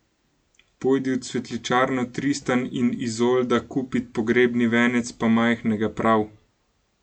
Pojdi v cvetličarno Tristan in Izolda kupit pogrebni venec, pa majhnega, prav!